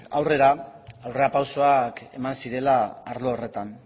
aurrera aurrerapausoak eman zirela arlo horretan